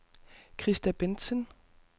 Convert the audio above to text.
Christa Bendtsen